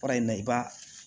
Baara in na i b'a